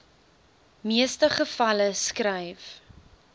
meeste gevalle skryf